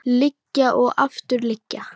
Lygar og aftur lygar.